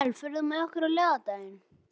Abel, ferð þú með okkur á laugardaginn?